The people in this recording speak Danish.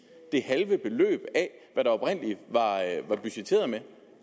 det halve beløb der oprindelig var budgetteret med